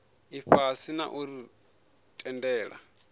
ifhasi na u ri tendela